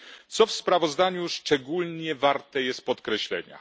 Co w sprawozdaniu szczególnie warte jest podkreślenia?